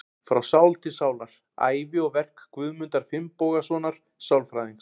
Frá sál til sálar: Ævi og verk Guðmundar Finnbogasonar sálfræðings.